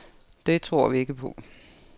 Det tror vi ikke på.